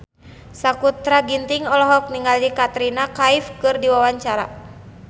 Sakutra Ginting olohok ningali Katrina Kaif keur diwawancara